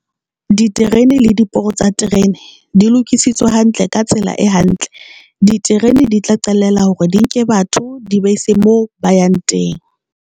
Diterene le diporo tsa terene di lokisitswe hantle ka tsela e hantle diterene di tla qalella hore di nke batho di ba ise mo ba yang teng.